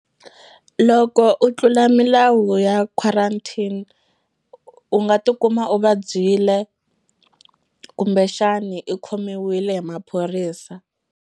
Loko u tlula milawu ya quarantine u nga tikuma u vabyile kumbexani i khomiwile hi maphorisa.